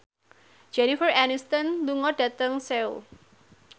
Jennifer Aniston lunga dhateng Seoul